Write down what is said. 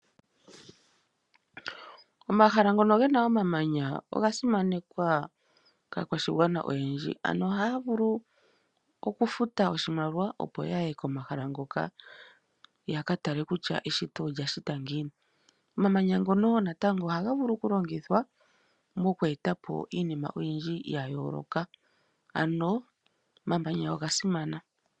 Omahala ngono ge na omamanya oga simanekwa kaa kwashigwana oyendji. Ano ohaya vulu oku futa oshimaliwa yakatala kutya eshito olya shitwa giini.